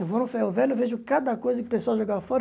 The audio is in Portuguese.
Eu vou no Ferro Velho e vejo cada coisa que o pessoal joga fora.